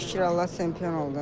Şükür Allah çempion oldum.